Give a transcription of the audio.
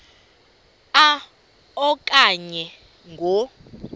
a okanye ngo